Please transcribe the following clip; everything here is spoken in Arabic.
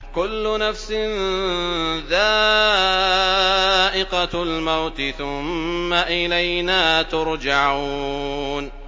كُلُّ نَفْسٍ ذَائِقَةُ الْمَوْتِ ۖ ثُمَّ إِلَيْنَا تُرْجَعُونَ